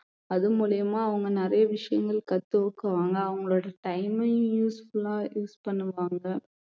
அது மூலியமா அவங்க நிறைய விஷயங்கள் கத்துக்குவாங்க அவங்களோட time அ useful ஆ use பண்ணுவாங்க